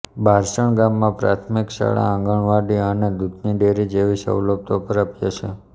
બારસણ ગામમાં પ્રાથમિક શાળા આંગણવાડી અને દૂધની ડેરી જેવી સવલતો પ્રાપ્ય છે